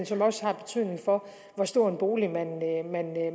som også har betydning for hvor stor en bolig